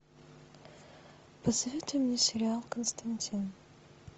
посоветуй мне сериал константин